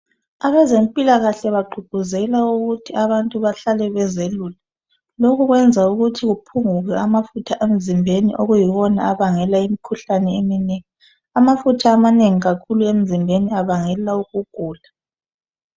Abezempilakahle bagqugquzela ukuthi abantu behlale bezelula lokhu kwenza ukuthi uphungule amafutha emzimbeni okuyiwona abangela imkhuhlane eminengi amafutha amanengi emzimbeni abangela ukugula